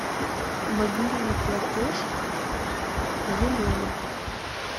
мобильный платеж елена